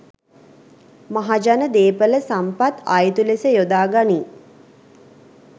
මහජන දේපළ සම්පත් අයුතු ලෙස යොදා ගනියි.